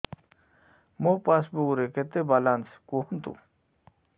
ମୋ ପାସବୁକ୍ ରେ କେତେ ବାଲାନ୍ସ କୁହନ୍ତୁ